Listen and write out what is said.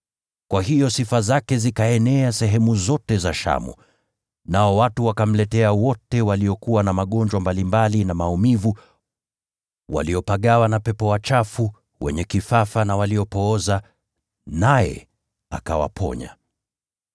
Kwa hiyo sifa zake zikaenea sehemu zote za Shamu, nao watu wakamletea wote waliokuwa na magonjwa mbalimbali na maumivu, waliopagawa na pepo wachafu, wenye kifafa na waliopooza, naye akawaponya.